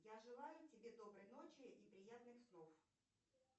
я желаю тебе доброй ночи и приятных снов